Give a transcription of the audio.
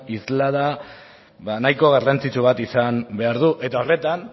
isla nahiko garrantzitsua izan behar du eta horretan